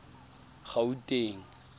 gauteng